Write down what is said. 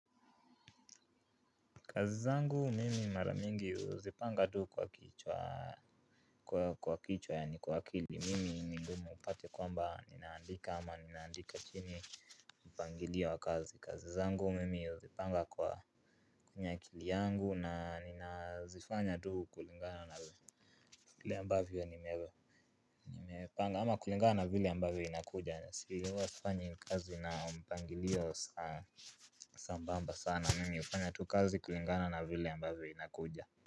Kazi zangu mimi mara mingi huzipanga tu kwa kichwa kwa kichwa yani kwa akili. Mimi ni ngumu upate kwamba ninaandika ama ninaandika chini mpangilio wa kazi. Kazi zangu mimi huzipanga kwa kwenye akili yangu na nina zifanya tu kulingana na vile ambavyo ni mewe nime panga ama kulingana na vile ambavyo inakuja huwa sifanyi kazi na mpangilio sambamba sana mimi hufanya tu kazi kulingana na vile ambavyo inakuja.